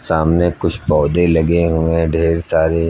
सामने कुछ पौधे लगे हुए हैं ढेर सारे।